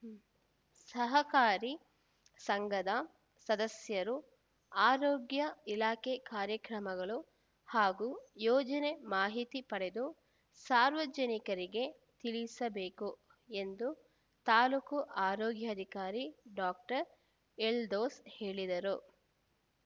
ಸಹಕಾರಿ ಸಂಘದ ಸದಸ್ಯರು ಆರೋಗ್ಯ ಇಲಾಖೆ ಕಾರ್ಯಕ್ರಮಗಳು ಹಾಗೂ ಯೋಜನೆ ಮಾಹಿತಿ ಪಡೆದು ಸಾರ್ವಜನಿಕರಿಗೆ ತಿಳಿಸಬೇಕು ಎಂದು ತಾಲೂಕು ಆರೋಗ್ಯಾಧಿಕಾರಿ ಡಾಕ್ಟರ್ ಎಲ್ದೋಸ್‌ ಹೇಳಿದರು